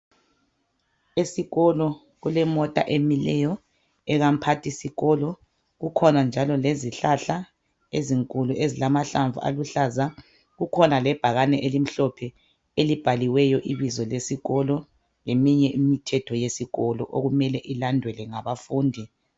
esikolo kulemota emileyo ekamuphathisikolo kukhona njalo lezihlahla ezinkulu ezilamahlamvu aluhlaza kukhona njalo lebhakede elimhlophe elibhaliweyo ibizo lesikolo leminye imithetho yesikolo okumele ilandelwe ngabafundi